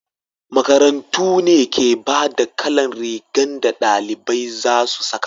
makarantu ne ke bada kalan rigan da dalibai za su saka